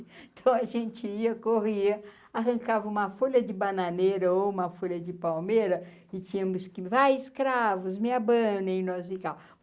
Então a gente ia, corria, arrancava uma folha de bananeira ou uma folha de palmeira, e tínhamos que, vai escravos, me abandem, nós, e tal.